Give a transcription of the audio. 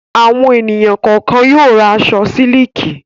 Àwọn ènìyàn kọ̀ọ̀kan yóò ra aṣọ sílíkì.